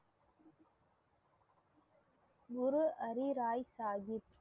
Guru Har Rai Sahib